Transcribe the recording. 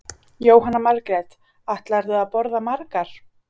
Jóhanna Margrét: Ætlarðu að borða margar?